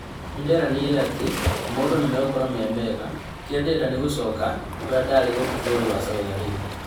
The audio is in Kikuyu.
Nĩnderanĩre atĩ maũndũ nĩmegũkorwo memega kĩrĩa ndĩrenda nĩ gũcooka ũrĩa ndarĩ gũkũ bũrũri wa Saudi Arabia